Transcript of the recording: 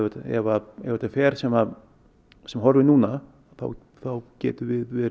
ef ef þetta fer sem sem horfir núna þá getum við verið